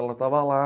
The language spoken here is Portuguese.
Ela estava lá.